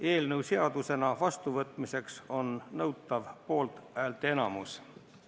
Eelnõu seadusena vastuvõtmiseks on nõutav poolhäälteenamus.